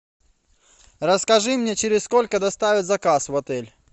расскажи мне через сколько доставят заказ в отель